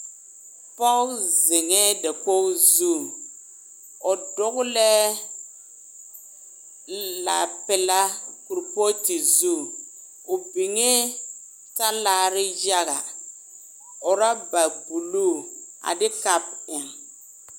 pɔge. zeŋɛ. dakogi zu, o dɔgelɛɛ laa pelaa kuri pooti zu, o biŋɛ talaare yaga, ɔraba buluu a de kapo eŋe